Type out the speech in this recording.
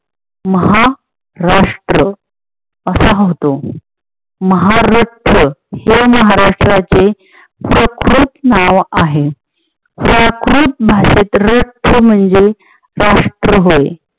महा राष्ट्र असा होतो महार रक्त हे महाराष्ट्राचे स्वकृत नाव आहे. प्राकृत भाषेत रक्त म्हणजे राष्ट्र होय.